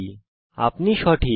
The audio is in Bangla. আপনার অনুমান সঠিক